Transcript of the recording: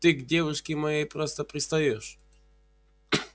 ты к девушке моей просто пристаёшь